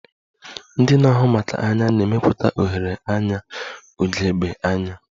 Ndị na-ahụ maka anya na-emepụta oghere anya ugegbe anya